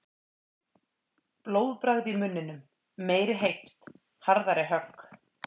Blóðbragð í munninum. meiri heift. harðari högg.